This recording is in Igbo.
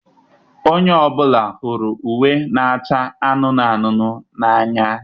Onye ọ bụla hụrụ uwe na-acha anụnụ anụnụ n'anya